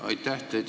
Aitäh!